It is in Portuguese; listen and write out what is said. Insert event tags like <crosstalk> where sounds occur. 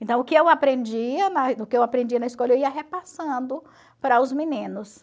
Então, o que eu aprendia <unintelligible> o que eu aprendia na escola, eu ia repassando para os meninos.